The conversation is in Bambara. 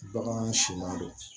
Baganw siman do